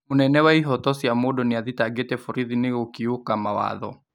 Mũnene wa ihoto cia mũndũ nĩathitangĩte borithi nĩgũkiũka mawatho